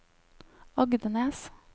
Agdenes